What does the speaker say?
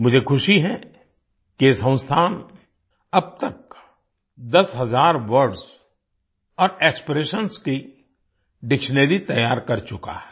मुझे ख़ुशी है कि ये संस्थान अब तक दस हज़ार वर्ड्स और एक्सप्रेशंस की डिक्शनरी तैयार कर चुका है